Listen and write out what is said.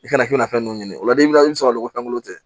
I kana fɛn dɔ ɲini o la n'i bɛ sɔrɔ ko fɛn tɛ